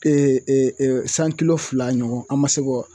kilo fila ɲɔgɔn an ma se k'o